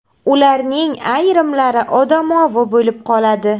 Ularning ayrimlari odamovi bo‘lib qoladi.